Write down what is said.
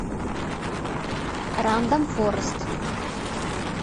рандом форест